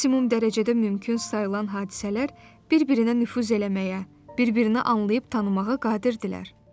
Maksimum dərəcədə mümkün sayılan hadisələr bir-birinə nüfuz eləməyə, bir-birini anlayıb tanımağa qadirdirlər.